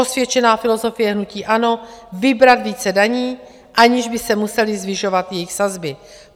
Osvědčená filozofie hnutí ANO - vybrat více daní, aniž by se musely zvyšovat jejich sazby.